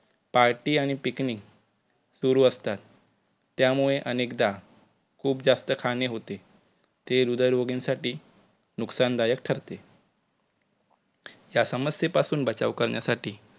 party आणि picnic सुरु असतात त्यामुळे अनेकदा खुप जास्त खाणे होते ते हृदयरोगींसाठी नुकसान दायक ठरते. या समस्ये पासून बचाव करण्यासाठी